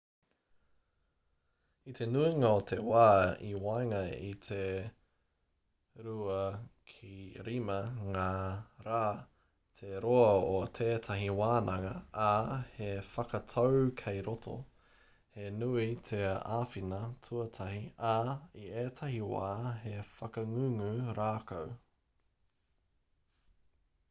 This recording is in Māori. i te nuinga o te wā i waenga i te 2-5 ngā rā te roa o tētahi wānanga ā he whakatau kei roto he nui te āwhina tuatahi ā i ētahi wā he whakangungu rākau